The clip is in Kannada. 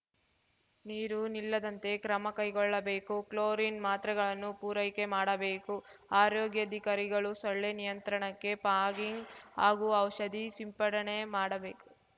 ನೀರು ನಿಲ್ಲದಂತೆ ಕ್ರಮ ಕೈಗೊಳ್ಳಬೇಕು ಕ್ಲೊರೈನ್‌ ಮಾತ್ರೆಗಳನ್ನು ಪೂರೈಕೆ ಮಾಡಬೇಕು ಆರೋಗ್ಯಾಧಿಕಾರಿಗಳು ಸೊಳ್ಳೆ ನಿಯಂತ್ರಣಕ್ಕೆ ಪಾಗಿಂಗ್‌ ಹಾಗೂ ಔಷಧಿ ಸಿಂಪಡಣೆ ಮಾಡಬೇಕು